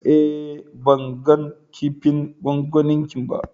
Eh, ban gan kipin gwangwani ki ba.